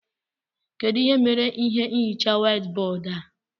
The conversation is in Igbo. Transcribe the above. Kedụ ihe mere ihe nhicha white bóódú a?